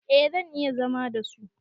A zan iya zama da su